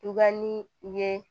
Tuba ni ye